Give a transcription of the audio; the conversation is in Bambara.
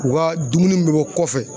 U ka dumuni mun bɛ bɔ kɔfɛ